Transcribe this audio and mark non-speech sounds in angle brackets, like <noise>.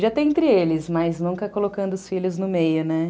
<unintelligible> entre eles, mas nunca colocando os filhos no meio, né?